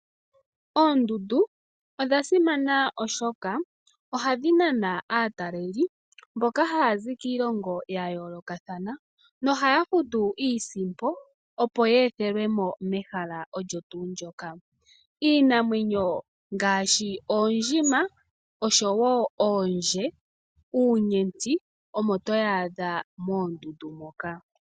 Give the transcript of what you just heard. Oondundu odha simana. Oshoka ohadhi nana aataleli mboka haya zi kiilongo ya yoolokathana nohaya futu iisimpo opo ye ethelwe mo mehala olyo tuu ndyoka. Iinamwenyo ngaashi oondjima osho wo oondje, uunyenti omo to wu adha moondundu moka.